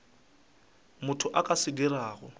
motho a ka se dirago